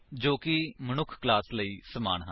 ਜੋ ਕਿ ਮਨੁੱਖ ਕਲਾਸ ਲਈ ਸਮਾਨ ਹਨ